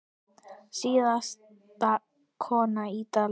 Síðasta konan í dalnum